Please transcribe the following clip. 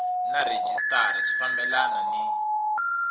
na rhejisitara swi fambelana ni